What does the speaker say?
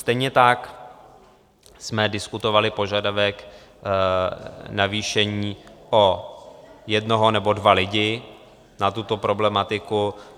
Stejně tak jsme diskutovali požadavek navýšení o jednoho nebo dva lidi na tuto problematiku.